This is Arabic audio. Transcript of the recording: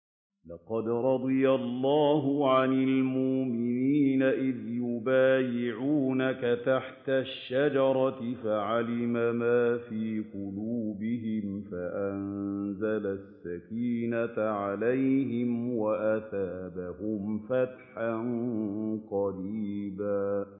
۞ لَّقَدْ رَضِيَ اللَّهُ عَنِ الْمُؤْمِنِينَ إِذْ يُبَايِعُونَكَ تَحْتَ الشَّجَرَةِ فَعَلِمَ مَا فِي قُلُوبِهِمْ فَأَنزَلَ السَّكِينَةَ عَلَيْهِمْ وَأَثَابَهُمْ فَتْحًا قَرِيبًا